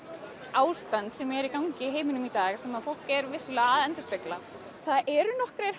ástand sem er í gangi í heiminum í dag sem fólk er vissulega að endurspegla það eru nokkrir